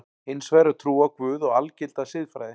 Hins vegar er trú á Guð og algilda siðfræði.